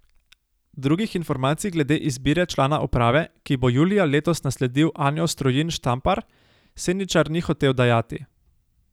Drugih informacij glede izbire člana uprave, ki bo julija letos nasledil Anjo Strojin Štampar, Seničar ni hotel dajati.